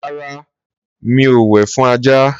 rárá, mi o wẹ̀ fún ajá.